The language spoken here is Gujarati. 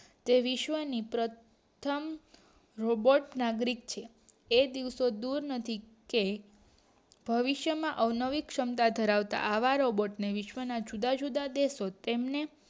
એ વિશ્વ્ ની પ્રથમ રોબોટ નાગરિક છે એ દિવસો દૂર નથી કે ભવિષ્ય માં અવનવી ક્ષમતા ધરાવતા આવા રોબોટ નર વિશ્વ્ ના જુદા જુદા દેશો તેમના